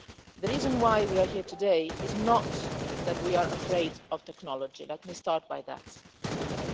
The reason why we are here today is not that we are afraid of technology, let me start by saying that.